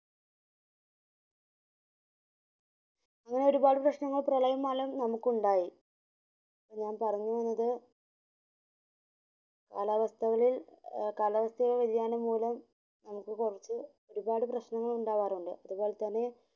അങ്ങനെ ഒരുപാട് പ്രശ്നങ്ങൾ പ്രളയം മൂലം നമുക്കുണ്ടായി ഞാൻ പറഞ്ഞു വന്നത് കാലാവസ്ഥകളിൽ കാലാവസ്ഥയിൽ കാലാവസ്ഥ വിദ്യാനം മൂലം നമുക് കൊർച് ഒരുപാട് പ്രശ്നങ്ങൾ നമുക്കുണ്ടാവാറുണ്ട് അത് പോലെ തന്നെ